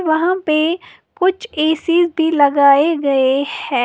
वहां पे कुछ ए_सी भी लगाए गए हैं।